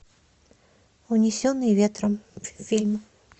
унесенные ветром фильм